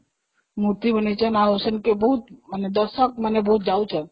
ମୂର୍ତି ବନେଇଛନ୍ତି ଆଉ ସେମିତି ବହୁତ ମାନେ ଦର୍ଶକମାନେ ବହୁତ ଯାଉଛନ୍ତି